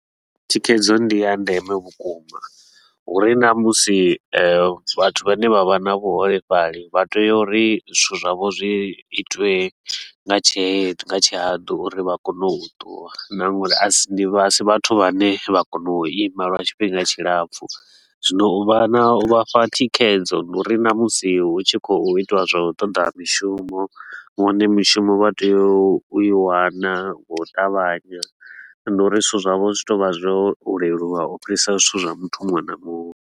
Thikhedzo ndiya ndeme vhukuma, hu ri na musi vhathu vhane vha vha na vhuholefhali, vha tea uri zwithu zwavho zwi itiwe nga tshe tshihatu uri vha kone u tuwa na nga uri a si ndi a si vhathu vhane vha kona u ima lwa tshifhinga tshilapfu. Zwino u vha na u vha fha thikhedzo ndi uri na musi hu tshi khou itiwa zwa toḓa mishumo, vhone mishumo vha tea u i wana nga u ṱavhanya. Ndi uri zwithu zwavho zwi tea u vha zwo leluwa u fhirisa zwithu zwa muthu muṅwe na muṅwe.